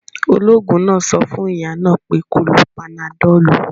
Ológun náà sọ fún ìyá náà pé kó lo panadọ̀lù